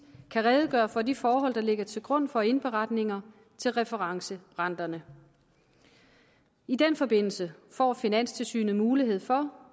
kan redegøre for de forhold der ligger til grund for indberetninger til referencerenterne i den forbindelse får finanstilsynet mulighed for